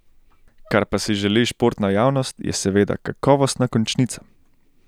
Kar pa si želi športna javnost, je seveda kakovostna končnica.